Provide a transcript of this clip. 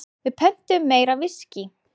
Við pöntuðum meira viskí.